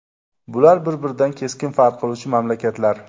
Bular bir-biridan keskin farq qiluvchi mamlakatlar.